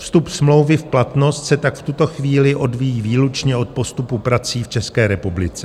Vstup smlouvy v platnost se tak v tuto chvíli odvíjí výlučně od postupu prací v České republice.